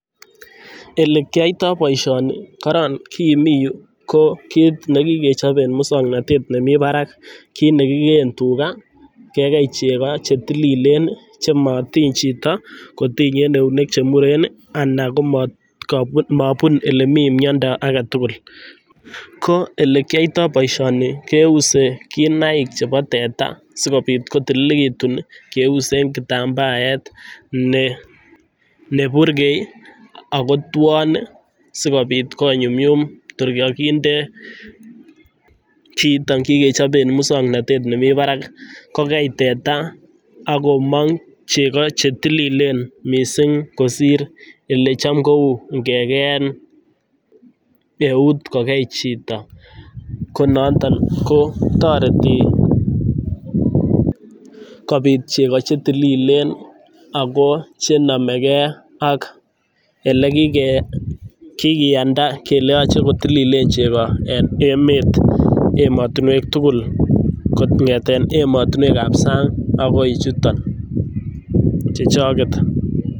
Ole kiyaitoi boisioni karan kii mi yu ko kiit nekikechob ing' mosong'natet ne mi barak, ki nekigee tuga kegei chego chetililen chematiiny chiito kotiny eunek chemuren anan komabun ole mi mnyondo agetugul ko olekiyaitoi boisioni keuse kinaik chebo teta sikobiit kotililitu keuse eng' kitambaet neburgei akotwon sikobiit koyumyum tun kaginde kiit kingechob eng' musong'natet nemi barak kogei teta akomong' chego chetililen misiing' kosir olecham kouu ngegein eut kogei chiito ko nooton kotareti kobiit chego chetililen ako chenamegei olekigiiyanda kele yaache kotililen chego en emet emotunwek tugul kong'ete emotunwek ap sang' akoi chuutok chechoget